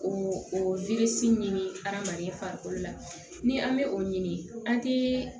O o ɲini adamaden farikolo la ni an bɛ o ɲini an tɛ